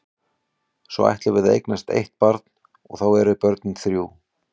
Svo ætlum við að eignast eitt barn og þá eru börnin þrjú.